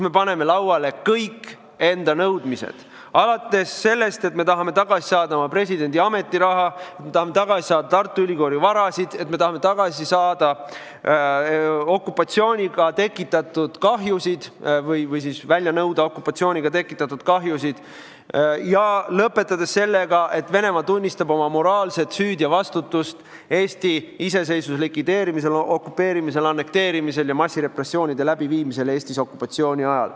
Me paneme lauale kõik enda nõudmised, alates sellest, et me tahame tagasi saada oma presidendi ametiraha, me tahame tagasi saada Tartu Ülikooli vara, me tahame välja nõuda okupatsiooniga tekitatud kahjusid, ja lõpetades sellega, et Venemaa tunnistab oma moraalset süüd ja vastutust Eesti iseseisvuse likvideerimisel, okupeerimisel, annekteerimisel ja massirepressioonide läbiviimisel Eestis okupatsiooni ajal.